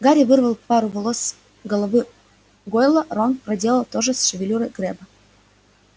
гарри вырвал пару волос с головы гойла рон проделал то же с шевелюрой крэбба